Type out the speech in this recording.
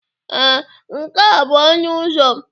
Ee, nke a bụ ọnụ ụzọ m.